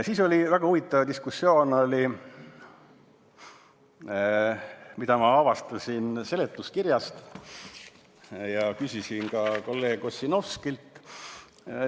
Siis oli väga huvitav diskussioon selle üle, mida ma avastasin seletuskirjast ja küsisin selle kohta ka kolleeg Ossinovskilt.